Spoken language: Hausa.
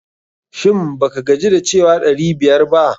Shin ba ka gaji da cewa ɗari biyar ba?